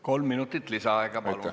Kolm minutit lisaaega, palun!